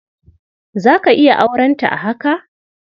Za ka iya aurenta a haka?